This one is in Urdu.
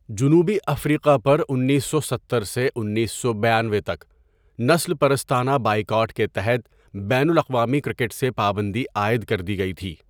جنوبی افریقہ پر انیسو ستر سے انیسو بانوے تک نسل پرستانہ بائیکاٹ کے تحت بین الاقوامی کرکٹ سے پابندی عائد کر دی گئی تھی.